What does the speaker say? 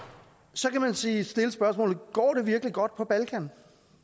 så kan man stille stille spørgsmålet går det virkelig godt på balkan